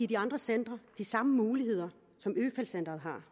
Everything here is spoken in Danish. de andre centre de samme muligheder som øfeldt centret har